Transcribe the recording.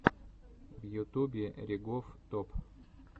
в ютубе ригоф топ